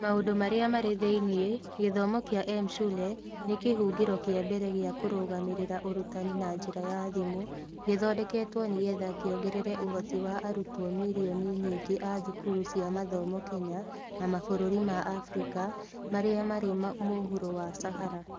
Maũndũ Marĩa Marĩ Thĩinĩ: Gĩthomo kĩa M-Shule nĩ kĩhũngĩro kĩa mbere gĩa kũrũgamĩrĩra ũrutani na njĩra ya thimũ gĩthondeketwo nĩ getha kĩongerere ũhoti wa arutwo milioni nyingĩ a thukuru cia mathomo Kenya na mabũrũri ma Abirika marĩa marĩ mũhuro wa Sahara.